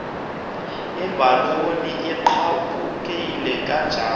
ibhaloni egqabhukileyo kanjalo